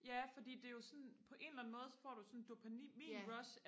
ja fordi det er jo sådan på en eller anden måde så får du jo sådan et dopaminrush